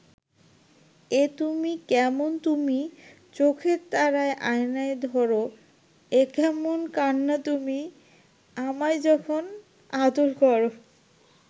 এ তুমি কেমন তুমি চোখের তারায় আয়না ধরো এ কেমন কান্না তুমি আমায় যখন আদর করো